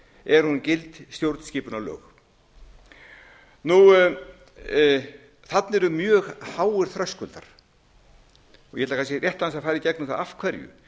er hún gild stjórnskipunarlög þarna eru mjög háir þröskuldar ég ætla kannski rétt aðeins að fara í gegnum það af hverju